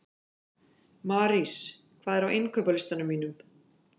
Marís, hvað er á innkaupalistanum mínum?